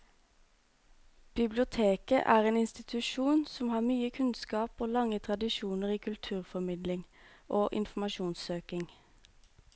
Biblioteket er en institusjon som har mye kunnskap og lange tradisjoner i kulturformidling og informasjonssøking.